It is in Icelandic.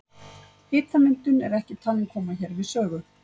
Hitamyndun er ekki talin koma hér við sögu.